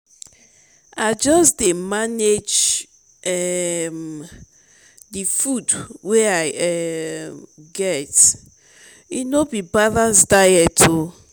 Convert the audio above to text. i just dey um manage um di food wey i um get e no be balanced diet o.